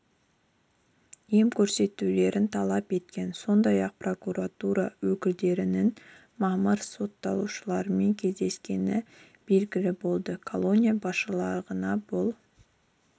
ем көрсетулерін талап еткен сондай-ақ прокуратура өкілдерінің мамырда сотталушылармен кездескені белгілі болды колония басшылығына бұл